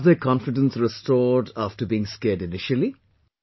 So they have their confidence restored after being scared initially